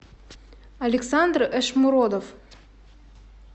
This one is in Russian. александр эшмуродов